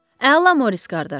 Əla Morris qardaş.